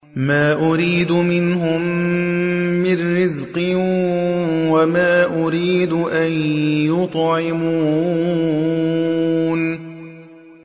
مَا أُرِيدُ مِنْهُم مِّن رِّزْقٍ وَمَا أُرِيدُ أَن يُطْعِمُونِ